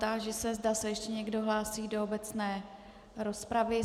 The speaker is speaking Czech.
Táži se, zda se ještě někdo hlásí do obecné rozpravy.